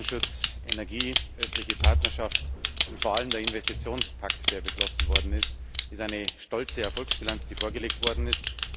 Roaming, Datenschutz, Energie, östliche Partnerschaft und vor allem der Investitionspakt, der beschlossen worden ist eine stolze Erfolgsbilanz, die vorgelegt worden ist.